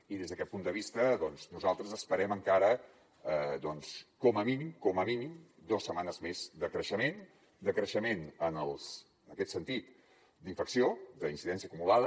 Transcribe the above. i des d’aquest punt de vista nosaltres esperem encara doncs com a mínim com a mínim dos setmanes més de creixement de creixement en aquest sentit d’infecció d’incidència acumulada